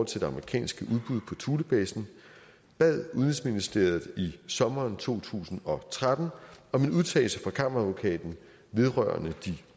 til det amerikanske udbud på thulebasen bad udenrigsministeriet i sommeren to tusind og tretten om en udtalelse fra kammeradvokaten vedrørende de